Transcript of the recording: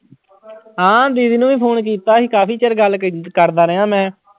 ਹਾਂ ਦੀਦੀ ਨੂੰ ਵੀ phone ਕੀਤਾ ਸੀ ਕਾਫ਼ੀ ਚਿਰ ਗੱਲ ਕ ਕਰਦਾ ਰਿਹਾਂ ਮੈਂ।